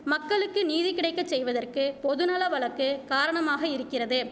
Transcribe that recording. மக்களுக்கு நீதி கிடைக்க செய்வதற்கு பொதுநல வழக்கு காரணமாக இருக்கிறது